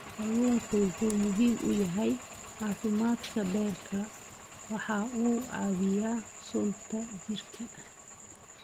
Kalluunku waxa uu muhiim u yahay caafimaadka beerka, waxa uu caawiyaa sunta jirka.